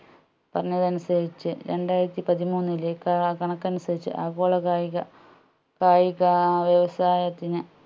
പറഞ്ഞതനുസരിച്ച് രണ്ടായിരത്തി പതിമൂന്നിലെ ക കണക്കനുസരിച്ച് ആഗോള കായിക കായിക വ്യവസായത്തിന്